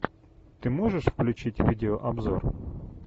ты можешь включить видеообзор